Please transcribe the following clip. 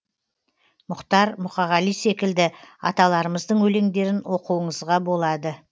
мұхтар мұқағали секілді аталарымыздың өлеңдерін оқуыңызға болады